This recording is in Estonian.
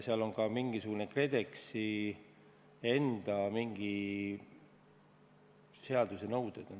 Seal on ka mingisugused KredExi enda nõuded.